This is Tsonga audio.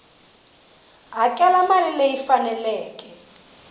hakela mali leyi yi faneleke